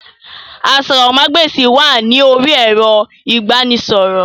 Àsòrọmagbesi wà ní orí ẹrọ ibanisọrọ.